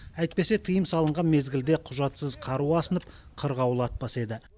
әйтпесе тыйым салынған мезгілде құжатсыз қару асынып қырғауыл атпас еді